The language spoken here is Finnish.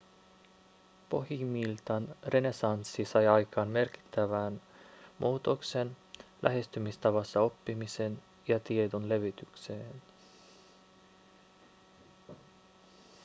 pohjimmiltaan renessanssi sai aikaan merkittävän muutoksen lähestymistavassa oppimiseen ja tiedon levitykseen